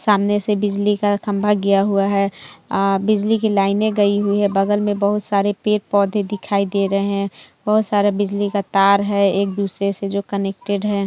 सामने से बिजली का खम्बा गया हुए है बिजली की लाइन गई हुई है बगल में बगल में बहुत सरे पेड़-पौधे दिखाई दे रहे हैं बहुत सारा बिजली का तार है एक दूसरे से जो कनेक्टेड है।